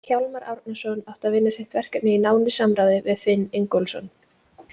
Hjálmar Árnason átti að vinna sitt verkefni í nánu samráði við Finn Ingólfsson.